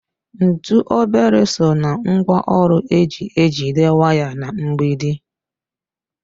Ntụ obere so ná ngwaọrụ eji ejide waya na mgbidi.